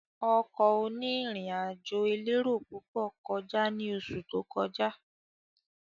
Ọkọ̀ oní ìrìn àjò elérò púpọ̀ kọjá ní oṣù tó kọjá